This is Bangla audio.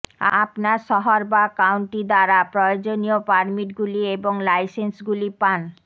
আপনার শহর বা কাউন্টি দ্বারা প্রয়োজনীয় প্রয়োজনীয় পারমিটগুলি এবং লাইসেন্সগুলি পান